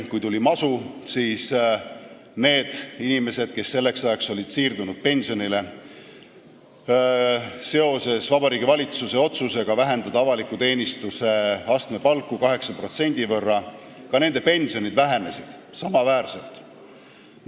Kui tuli masu, siis otsustas Vabariigi Valitsus vähendada avaliku teenistuse astmepalka 8% võrra ja ka nende inimeste pensionid said samavõrra väiksemad.